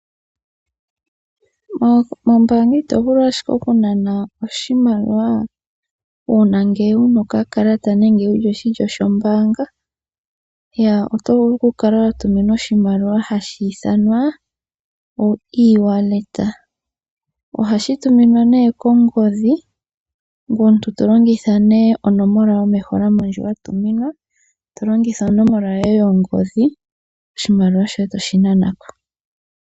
Mombaanga ito vulu ashike oku nana oshimaliwa uuna ngele wu na okakalata nenge wu li oshilyo shombaanga, oto vulu oku kala wa tuminwa oshimaliwa hashi ithanwa oE- wallet. Ohashi tuminwa nee kongodhi, ngoye tolongitha onomola yomeholamo ndjoka wa tuminwa, to longitha onomola yoye yongodhi, oshimaliwa shoye toshi nana ko.